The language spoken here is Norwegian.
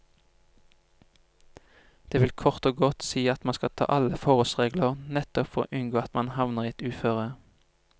Det vil kort og godt si at man skal ta alle forholdsregler nettopp for å unngå at man havner i et uføre.